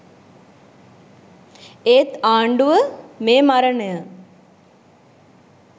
ඒත් ආණ්ඩුව.මේ මරණය.